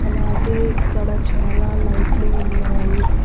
అలాగే ఇక్కడ చాలా లైట్లు ఉన్నాయి.